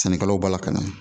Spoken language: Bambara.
Sɛnɛkɛlaw b'a la ka na